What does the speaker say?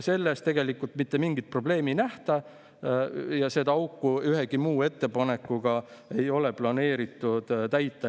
Selles mitte mingit probleemi ei nähta ja seda auku ühegi muu ettepanekuga ei ole planeeritud täita.